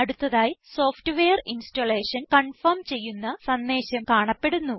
അടുത്തതായി software installation confirm ചെയ്യുന്ന സന്ദേശം കാണപ്പെടുന്നു